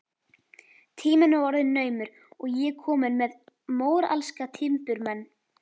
Tíminn var orðinn naumur og ég komin með móralska timburmenn.